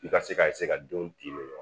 I ka se ka ka denw di